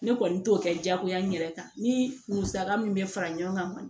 Ne kɔni t'o kɛ diyagoya n yɛrɛ kan ni musaka min bɛ fara ɲɔgɔn kan